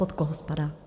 Pod koho spadá?